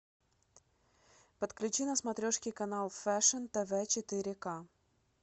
подключи на смотрешке канал фэшн тв четыре ка